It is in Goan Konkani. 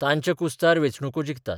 तांच्या कुस्तार वेंचणुको जिखतात.